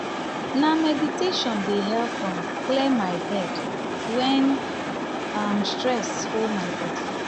na meditation dey help um me clear my head wen um stress um hold my body.